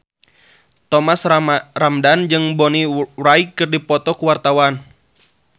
Thomas Ramdhan jeung Bonnie Wright keur dipoto ku wartawan